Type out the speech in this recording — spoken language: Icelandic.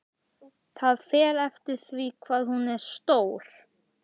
Það fer eftir því hvað hún er stór.